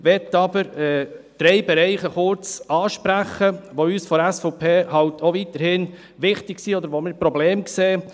Ich möchte jedoch drei Bereiche kurz ansprechen, die uns vonseiten der SVP weiterhin wichtig sind, oder wo wir Probleme sehen.